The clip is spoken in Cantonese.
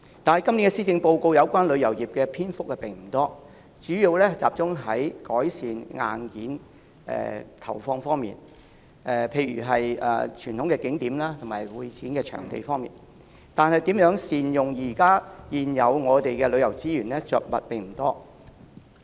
可是，今年的施政報告有關旅遊業的篇幅並不多，主要集中於投放資源，以改善硬件，例如在傳統景點及會展場地方面，但對於如何善用我們現有的旅遊資源卻着墨不多。